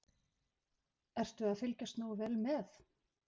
Ertu að fylgjast nógu vel með?